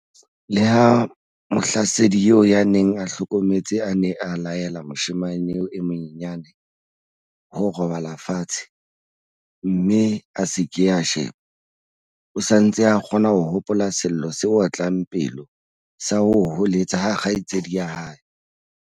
Leha mohlasedi eo ya neng a hlometse a ne a laele moshemane eo e monyenyane ho robala fatshe mme a se ke a sheba, o sa ntse a kgona ho hopola sello se otlang pelo sa ho hoeletsa ha kgaitsedi ya hae.